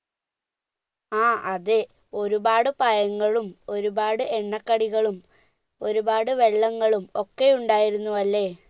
ആ അതെ ഒരുപാട് പഴങ്ങളും ഒരുപാട് എണ്ണ കടിക്കടിളും ഒരുപാട് വള്ളങ്ങളും ഒക്കെ ഉണ്ടായിരുന്നു അല്ലെ